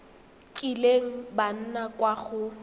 kileng ba nna kwa go